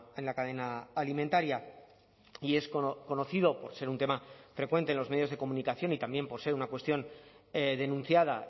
en la cadena alimentaria y es conocido por ser un tema frecuente en los medios de comunicación y también por ser una cuestión denunciada